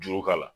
Juru k'a la